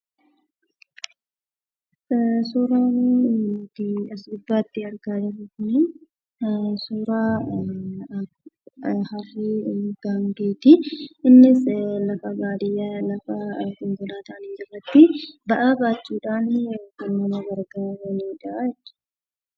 Suuraan nuti as gubbaatti argaa jirru kuni suuraa Harree fi Gaangeeti. Innis lafa baadiyyaa lafa konkolaataan hin jirretti ba'aa baachuudhaan kan nama gargaaranidhaa jechuudha.